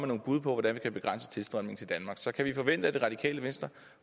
nogle bud på hvordan vi kan begrænse tilstrømningen til danmark så kan vi forvente at det radikale venstre